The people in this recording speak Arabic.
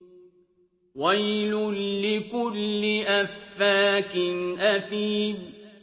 وَيْلٌ لِّكُلِّ أَفَّاكٍ أَثِيمٍ